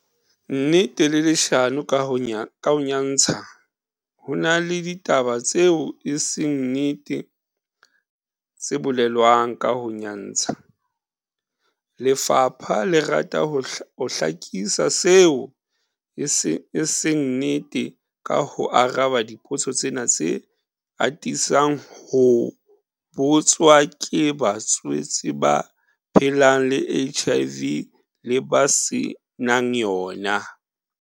Nnete le leshano ka ho nyantsha Ho na le ditaba tseo e seng nnete tse bolelwang ka ho nyantsha, lefapha le rata ho hlakisa seo e seng nnete ka ho araba dipotso tsena tse atisang ho botswa ke batswetse ba phelang le HIV le ba se nang yona.